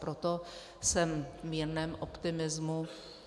Proto jsem v jemném optimismu.